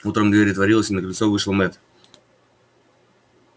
утром дверь отворилась и на крыльцо вышел мэтт